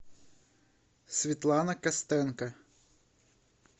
светлана костенко